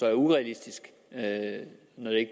er urealistisk